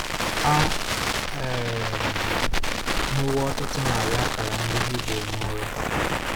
A um hụwo ọtụtụ narị akara ndị Hibru n'ụrọ.